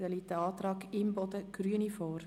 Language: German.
Hier liegt ein Antrag Imboden/Grüne vor.